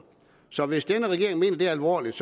så hvis denne regering mener det alvorligt